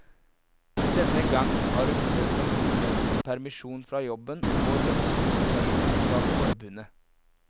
Denne gang har hun søkt om ulønnet permisjon fra jobben og lønnskompensasjon fra forbundet.